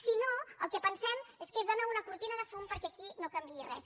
si no el que pensem és que és de nou una cortina de fum perquè aquí no canviï res